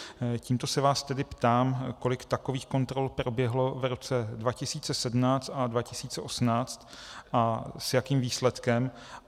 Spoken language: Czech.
Tímto se vás tedy ptám, kolik takových kontrol proběhlo v roce 2017 a 2018 a s jakým výsledkem.